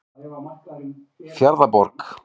Fjarðarborg